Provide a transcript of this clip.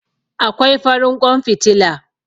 Akwai farin ƙwan fitila.